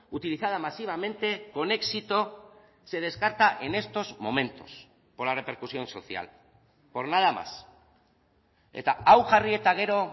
utilizada masivamente con éxito se descarta en estos momentos por la repercusión social por nada más eta hau jarri eta gero